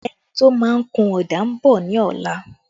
A painter is coming tomorrow